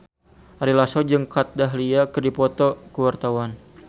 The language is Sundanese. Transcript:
Ari Lasso jeung Kat Dahlia keur dipoto ku wartawan